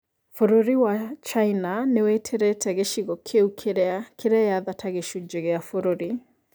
Bũrũri wa China nĩwĩtĩrĩte gĩcigo kĩu kĩrĩa kĩreyatha ta gĩcunjĩ gĩa bũrũri